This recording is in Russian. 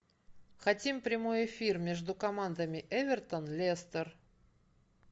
хотим прямой эфир между командами эвертон лестер